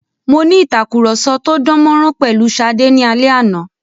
Mo ní ìtàkurọ̀sọ tó dán mọ́rán pẹ̀lu Ṣadé ní alẹ́ àná.